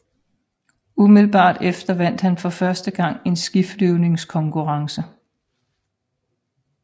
Umiddelbart efter vandt han for første gang en skiflyvningskonkurrence